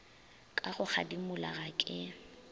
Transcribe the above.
ka go kgadimola ga ke